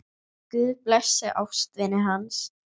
Guð blessi ástvini hans.